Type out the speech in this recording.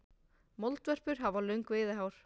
Moldvörpur hafa löng veiðihár.